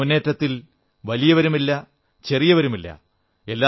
ഈ മുന്നേറ്റത്തിൽ വലിയവരുമില്ല ചെറിയവരുമില്ല